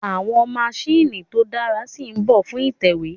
Àwọn maṣíìnì tó dáa si mbọ̀ fún ìtẹ̀wé